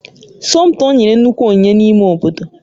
Somtoo nyere nnukwu onyinye n'ime obodo